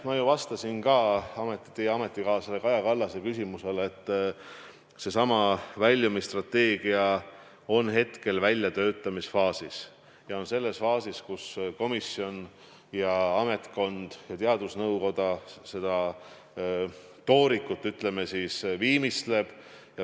Ma vastasin ka teie ametikaaslase Kaja Kallase küsimusele, et seesama väljumisstrateegia on hetkel väljatöötamisfaasis ja selles faasis, kus komisjon, ametkond ja teadusnõukoda seda toorikut alles viimistlevad.